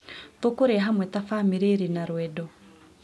Tũkũrĩa hamwe ta bamĩrĩ ĩrĩ na rwendo.